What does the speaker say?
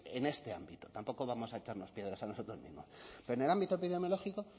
en este ámbito tampoco vamos a echarnos piedras a nosotros mismos pero en el ámbito epidemiológico